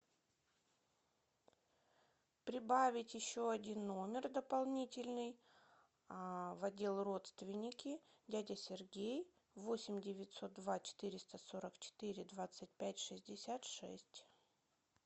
прибавить еще один номер дополнительный в отдел родственники дядя сергей восемь девятьсот два четыреста сорок четыре двадцать пять шестьдесят шесть